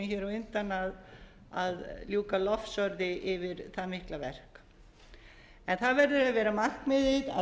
hér á undan að ljúka lofsorði yfir það mikla verk en það verður að vera markmiðið